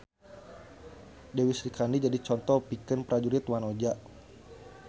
Dewi Srikandi jadi conto pikeun prajurit wanoja